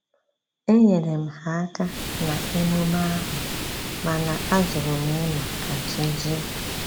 Enyere m ha aka na-emume ahu, mana ajurum ịnọ ka chi jie